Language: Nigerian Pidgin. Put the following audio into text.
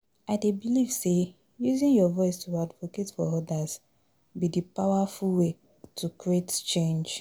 I dey believe say using your voice to advocate for odas be di powerful way to create change.